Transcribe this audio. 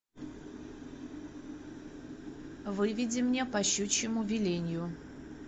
выведи мне по щучьему велению